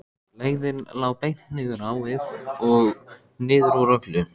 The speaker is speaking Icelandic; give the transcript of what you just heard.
Leiðin lá beint niður á við og niður úr öllu.